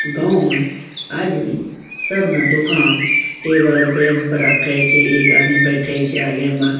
गांव में आज भी सब न दुकान टेबल बेंच पर रखें छे एक आदमी बेटहे छे आगे में --